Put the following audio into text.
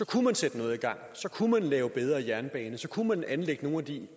kunne man sætte noget i gang så kunne man lave bedre jernbaner så kunne man anlægge nogle af de